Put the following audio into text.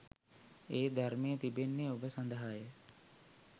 ඒ ධර්මය තිබෙන්නේ ඔබ සඳහා ය